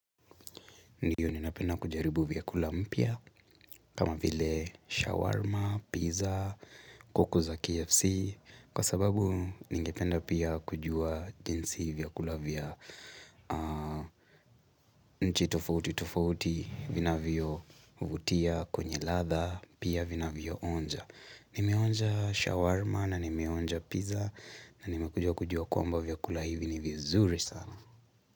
Ndiyo ninapenda kujaribu vya kula mpya kama vile shawarma, pizza, kukula KFC Kwa sababu ningependa pia kujua jinsi vyakula vya nchi tofauti tofauti vinavyo vutia kwenye latha pia vinavyo onja Nimionja shawarma na nimeonja pizza na nimekujua kujua kwamba vya kula vya vya zuri sana.